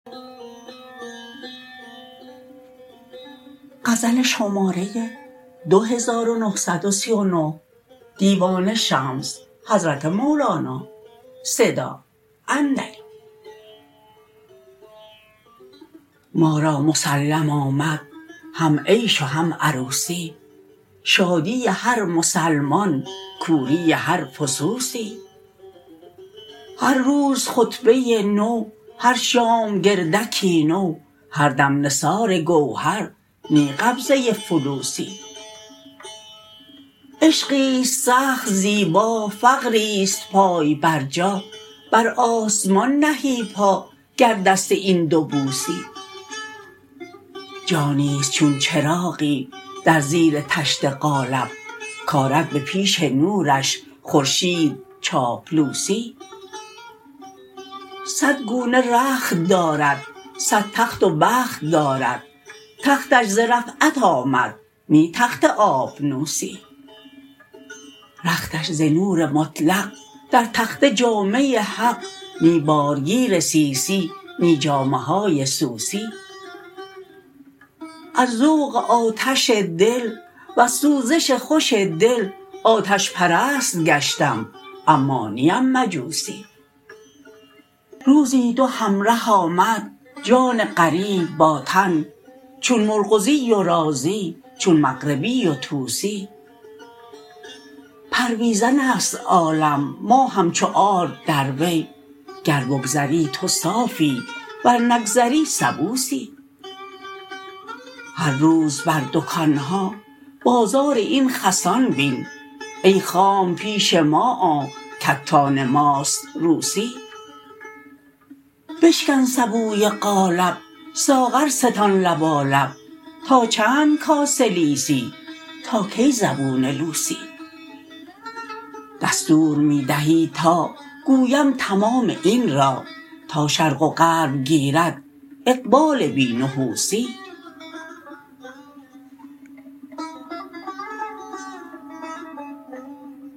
ما را مسلم آمد هم عیش و هم عروسی شادی هر مسلمان کوری هر فسوسی هر روز خطبه ای نو هر شام گردکی نو هر دم نثار گوهر نی قبضه فلوسی عشقی است سخت زیبا فقری است پای برجا بر آسمان نهی پا گر دست این دو بوسی جانی است چون چراغی در زیر طشت قالب کرد به پیش نورش خورشید چاپلوسی صد گونه رخت دارد صد تخت و بخت دارد تختش ز رفعت آمد نی تخت آبنوسی رختش ز نور مطلق در تخته جامه حق نی بارگیر سیسی نی جامه های سوسی از ذوق آتش دل وز سوزش خوش دل آتش پرست گشتم اما نیم مجوسی روزی دو همره آمد جان غریب با تن چون مرغزی و رازی چون مغربی و طوسی پرویزن است عالم ما همچو آرد در وی گر بگذری تو صافی ور نگذری سبوسی هر روز بر دکان ها بازار این خسان بین ای خام پیش ما آ کتان ماست روسی بشکن سبوی قالب ساغر ستان لبالب تا چند کاسه لیسی تا کی زبون لوسی دستور می دهی تا گویم تمام این را تا شرق و غرب گیرد اقبال بی نحوسی